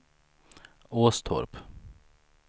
Åstorp